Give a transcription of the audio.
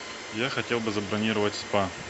я хотел бы забронировать спа